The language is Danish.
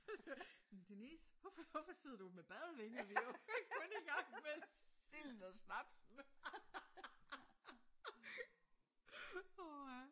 Jamen Denise hvorfor hvorfor sidder du med badevinger på? Vi er kun i gang med silden og snapsen